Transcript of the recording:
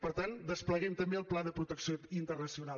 per tant despleguem també el pla de protecció internacional